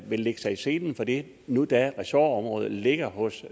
lægge sig i selen for det nu da ressortområdet ligger hos